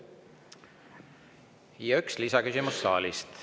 Ja üks lisaküsimus saalist.